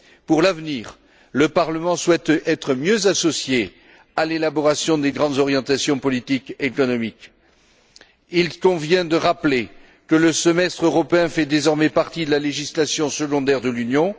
Pour l'avenir, le Parlement souhaite être mieux associé à l'élaboration des grandes orientations politiques et économiques. Il convient de rappeler que le semestre européen fait désormais partie de la législation secondaire de l'Union.